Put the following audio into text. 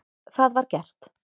Það var gert.